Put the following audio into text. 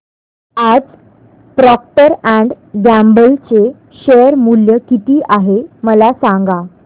आज Procter and Gamble चे share मूल्य किती आहे मला सांगा